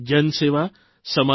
હકીકતમાં તેઓ સાચા કર્મયોગી છે